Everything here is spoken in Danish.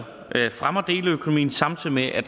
fremmer deleøkonomien samtidig med at